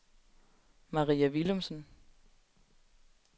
Maria Villumsen